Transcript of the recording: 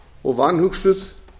og vanhugsuð